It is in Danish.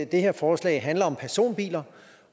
det her forslag handler om personbiler